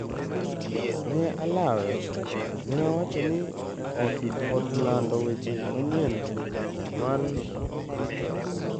Ne alawe," ne owacho ne od lando weche manyien mar Reuters.